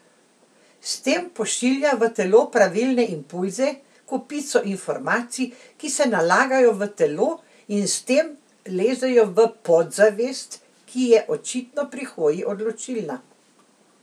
S tem pošilja v telo pravilne impulze, kopico informacij, ki se nalagajo v telo, in s tem lezejo v podzavest, ki je očitno pri hoji odločilna.